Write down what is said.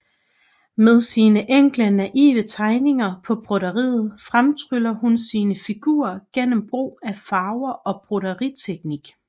Med sine enkle naive tegninger på broderiet fremtryller hun sine figurer gennem brug af farver og broderiteknik